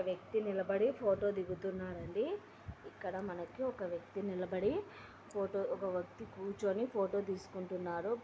వ్యక్తి నిలబడి ఫోటో దిగుతున్నాడండి ఇక్కడ కనకి ఒక వ్యక్తి నిలబడి ఫొటో ఒక వ్యక్తి కుర్చోని ఫోటో తీసుకుంటున్నాడు.